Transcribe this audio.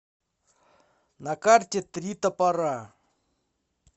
на карте три топора